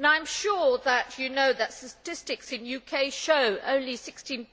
I am sure that you know that statistics in the UK show that only 16